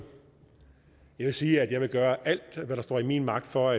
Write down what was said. jeg vil sige at jeg vil gøre alt hvad der står i min magt for